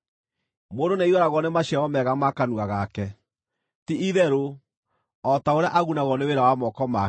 Mũndũ nĩaiyũragwo nĩ maciaro mega ma kanua gake, ti-itherũ, o ta ũrĩa agunagwo nĩ wĩra wa moko make.